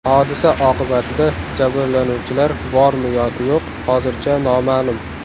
Hodisa oqibatida jabrlanuvchilar bormi yoki yo‘q, hozircha noma’lum.